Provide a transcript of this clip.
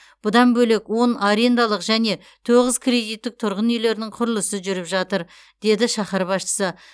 бұдан бөлек он арендалық және тоғыз кредиттік тұрғын үйлердің құрылысы жүріп жатыр деді шаһар басшысы